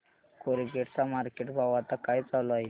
Colgate चा market भाव आता काय चालू आहे